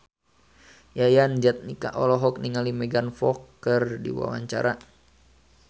Yayan Jatnika olohok ningali Megan Fox keur diwawancara